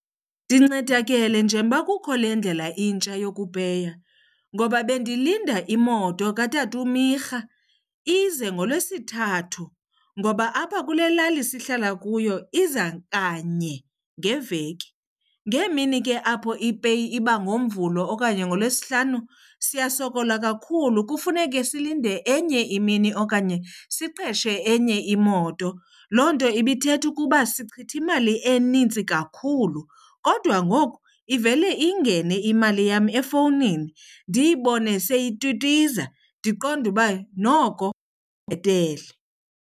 Ndincedakele njengoba kukho le ndlela intsha yokupeya ngoba bendilinda imoto katata uMyirha ize ngoLwesithathu ngoba apha kule lali sihlala kuyo iza kanye ngeveki. Ngeemini ke apho ipeyi iba ngoMvulo okanye ngoLwesihlanu siyasokola kakhulu kufuneke silinde enye imini okanye siqeshe enye imoto. Loo nto ibithetha ukuba sichitha imali enintsi kakhulu kodwa ngoku ivele ingene imali yam efowunini, ndiyibone seyitwitwiza ndiqonde uba noko kubhetele.